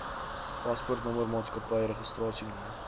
paspoortnommer maatskappy registrasienommer